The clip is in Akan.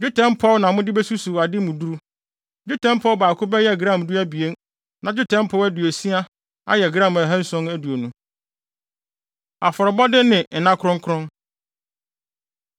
Dwetɛ mpɔw na mode besusuw ade mu duru. Dwetɛ mpɔw baako bɛyɛ gram du abien, na dwetɛ mpɔw aduosia ayɛ gram ahanson aduonu (720). Afɔrebɔde Ne Nna Kronkron